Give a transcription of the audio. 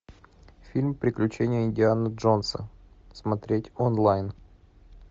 фильм приключения индианы джонса смотреть онлайн